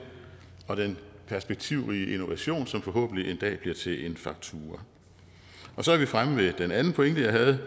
og den perspektivrige innovation som forhåbentlig en dag bliver til en faktura så er vi fremme ved den anden pointe jeg havde